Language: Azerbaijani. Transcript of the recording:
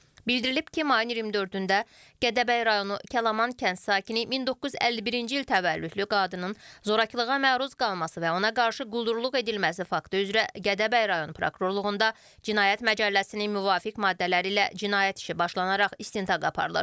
Bildirilib ki, mayın 24-də Gədəbəy rayonu Kəlaman kənd sakini 1951-ci il təvəllüdlü qadının zorakılığa məruz qalması və ona qarşı quldurluq edilməsi faktı üzrə Gədəbəy rayon prokurorluğunda cinayət məcəlləsinin müvafiq maddələri ilə cinayət işi başlanaraq istintaq aparılır.